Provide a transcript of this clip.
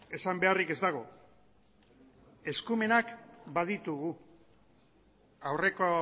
esan beharrik ez dago eskumenak baditugu aurreko